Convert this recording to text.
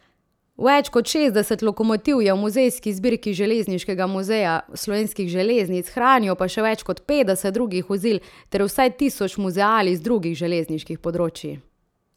Več kot šestdeset lokomotiv je v muzejski zbirki Železniškega muzeja Slovenskih železnic, hranijo pa še več kot petdeset drugih vozil ter vsaj tisoč muzealij z drugih železniških področij.